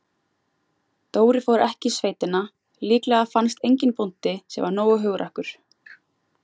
Dóri fór ekki í sveitina, líklega fannst enginn bóndi, sem var nógu hugrakkur.